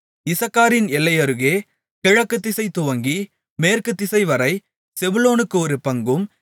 இசக்காரின் எல்லையருகே கிழக்குதிசை துவங்கி மேற்குத்திசைவரை செபுலோனுக்கு ஒரு பங்கும்